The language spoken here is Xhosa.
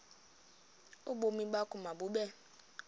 ubomi bakho mabube